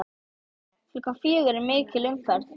Klukkan fjögur er mikil umferð.